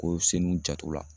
Ko Senu Jatula